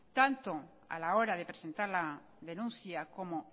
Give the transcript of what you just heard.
tanto a la hora de presentar la denuncia como